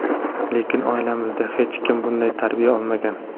Lekin oilamizda hech kim bunday tarbiya olmagan.